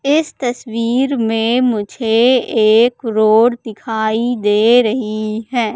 इस तस्वीर में मुझे एक रोड दिखाई दे रही हैं।